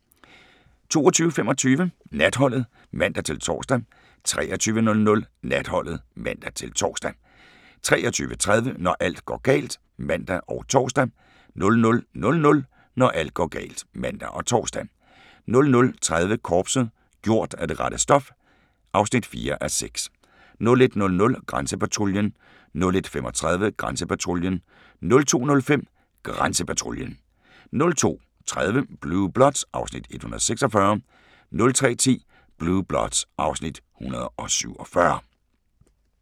22:25: Natholdet (man-tor) 23:00: Natholdet (man-tor) 23:30: Når alt går galt (man og tor) 00:00: Når alt går galt (man og tor) 00:30: Korpset - gjort af det rette stof (4:6) 01:00: Grænsepatruljen 01:35: Grænsepatruljen 02:05: Grænsepatruljen 02:30: Blue Bloods (Afs. 146) 03:10: Blue Bloods (Afs. 147)